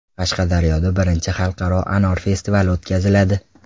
Qashqadaryoda birinchi xalqaro anor festivali o‘tkaziladi.